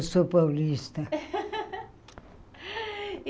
Eu sou paulista.